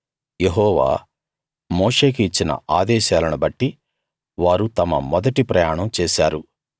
యెహోవా మోషేకి ఇచ్చిన ఆదేశాలను బట్టి వారు తమ మొదటి ప్రయాణం చేశారు